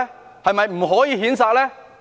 是否不可以譴責呢？